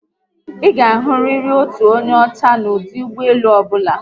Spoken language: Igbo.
ịga ahụriri otu onye ọchá n'odu ụgbọelu ọbụla